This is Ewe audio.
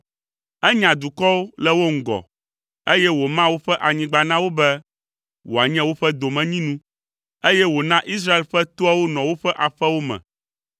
Enya dukɔwo le wo ŋgɔ, eye wòma woƒe anyigba na wo be wòanye woƒe domenyinu, eye wòna Israel ƒe toawo nɔ woƒe aƒewo me.